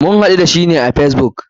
Mun haɗu da shi ne a facebook.